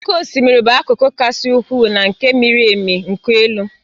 Oké osimiri bụ akụkụ kasị ukwuu na nke miri emi nke elu.